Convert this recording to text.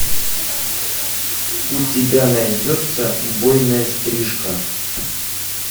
у тебя найдется убойная стрижка